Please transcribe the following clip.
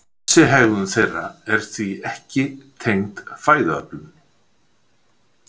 Þessi hegðun þeirra er því ekki tengd fæðuöflun.